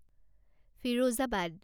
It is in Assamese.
ফিৰোজাবাদ